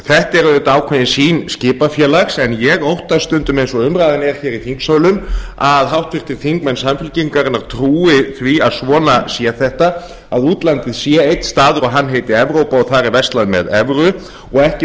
er auðvitað ákveðin sýn skipafélags en ég óttast stundum eins og umræðan er hér í þingsölum að háttvirtir þingmenn samfylkingarinnar trúi því að svona sé þetta að útlandið sé einn staður og hann heiti evrópa og þar er verslað með evru og ekki